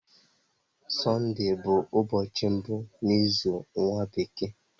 Sunday bu ubochi mbu n'izu nwa bekee.